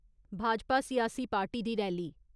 भाजपा सियासी पार्टी दी रैली ।